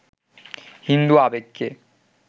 হিন্দু আবেগকে